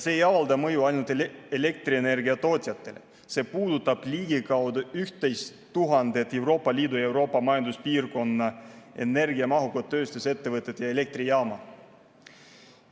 See ei avalda mõju ainult elektrienergiatootjatele, see puudutab ligikaudu 11 000 Euroopa Liidu ja Euroopa Majanduspiirkonna energiamahukat tööstusettevõtet ja elektrijaama.